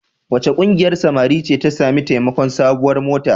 Wace ƙungiyar samari ce ta sami taimakon sabuwar mota?